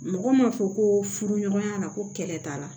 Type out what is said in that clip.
Mɔgɔ m'a fɔ ko furu ɲɔgɔnya la ko kɛlɛ t'a la